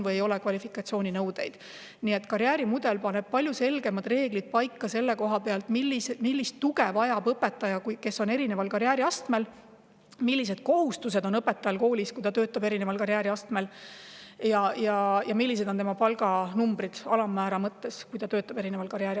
Seega, karjäärimudel paneb paika palju selgemad reeglid: kui suurt tuge õpetaja mingil karjääriastmel vajab, millised kohustused on õpetajal koolis sõltuvalt sellest, millisel karjääriastmel ta töötab, ja milline on eri karjääriastmel töötavate õpetajate palga alammäär.